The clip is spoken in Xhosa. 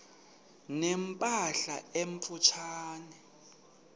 ne mpahla emfutshane